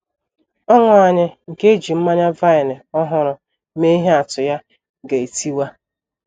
Ọṅụ anyị nke e ji mmanya vine ọhụrụ mee ihe atụ ya ga - etiwa.